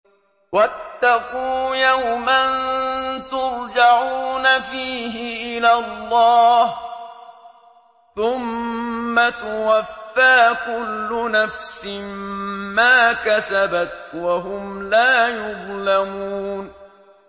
وَاتَّقُوا يَوْمًا تُرْجَعُونَ فِيهِ إِلَى اللَّهِ ۖ ثُمَّ تُوَفَّىٰ كُلُّ نَفْسٍ مَّا كَسَبَتْ وَهُمْ لَا يُظْلَمُونَ